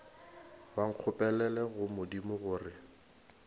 ba nkgopelele go modimo gore